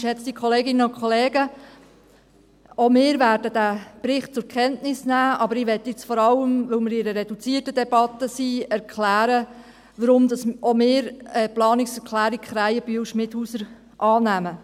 Auch wir werden diesen Bericht zur Kenntnis nehmen, aber ich möchte jetzt, da wir uns in einer reduzierten Debatte befinden, vor allem erklären, warum auch wir die Planungserklärung Krähenbühl/Schmidhauser annehmen.